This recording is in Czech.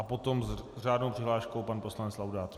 A potom s řádnou přihláškou pan poslanec Laudát.